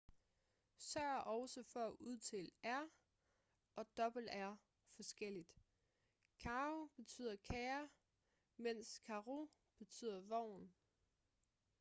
sørg også for at udtale r og rr forskelligt caro betyder kære mens carro betyder vogn